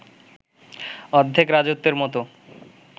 অর্ধেক রাজত্বের মতো